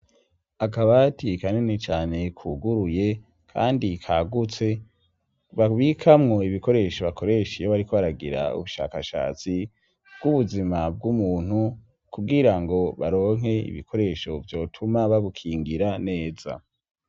Akabati kanini cane kuguruye kandi kagutse babikamwo ibikoresho bakoresha iyo bari kbaragira ubushakashatsi bw'ubuzima bw'umuntu kugira ngo baronke ibikoresho vyotuma bagukingira neza.